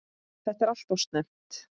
Þetta er alltof snemmt.